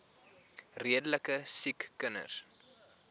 redelike siek kinders